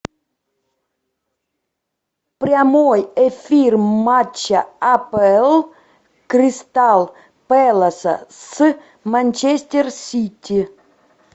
прямой эфир матча апл кристал пэласа с манчестер сити